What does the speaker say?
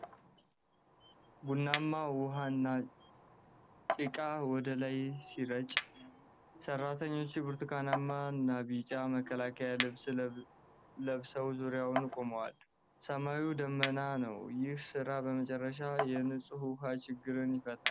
ቡናማ ውሃና ጭቃ ወደ ላይ ሲረጭ፣ ሠራተኞች ብርቱካናማና ቢጫ መከላከያ ልብስ ለብሰው ዙሪያውን ቆመዋል። ሰማዩ ደመናማ ነው። ይህ ሥራ በመጨረሻ የንፁህ ውሃ ችግርን ይፈታል?